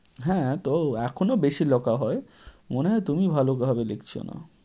হ্যাঁ, তো এখনো বেশি লেখা হয়, মনে হয় তুমি ভালোভাবে লিখছো না।